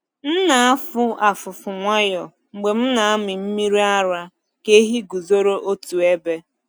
M na-afụ afụfụ nwayọọ mgbe m na-amị mmiri ara ka ehi guzoro otu ebe.